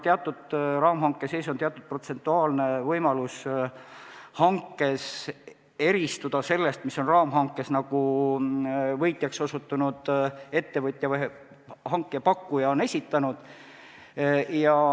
Raamhanke sees on teatud protsentuaalne võimalus eristuda hanke puhul sellest, mille on raamhankes võitjaks osutunud ettevõtja või hanke pakkuja esitanud.